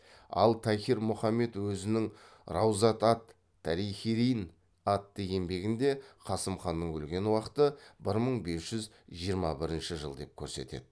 ал тахир мұхаммед өзінің раузат ат тарихирин атты еңбегінде қасым ханның өлген уақыты бір мың бес жүз жиырма бірінші жыл деп көрсетеді